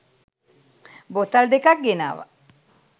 බෝතල් දෙකක් ගෙනාව.